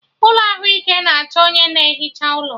Ụlọ ahụike na achọ onye na ehicha ụlọ